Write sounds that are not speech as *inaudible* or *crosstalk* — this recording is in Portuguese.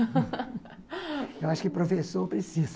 *laughs* Eu acho que o professor precisa.